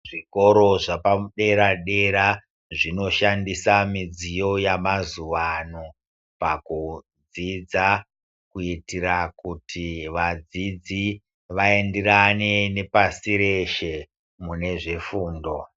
Zvikoro zvepa dera dera zvino shandisa midziyo yama zuvano pakudzidza kuitira kuti vadzidzi vaenderane ne pasi reshe mune zve fundo.